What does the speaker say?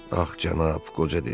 Ax cənab, qoca dedi.